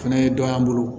Fɛnɛ ye dɔ y'an bolo